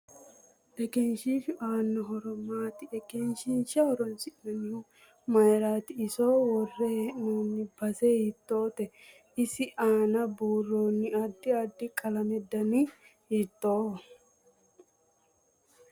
Egenshiishu aanno horo maati egenshiisha horoonsinanihu mayiirati iso worre heenooni base hiitoote isi aana buurooni addi addi qalamete dani hiitooho